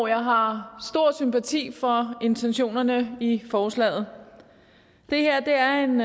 jeg har stor sympati for intentionerne i forslaget og det her er en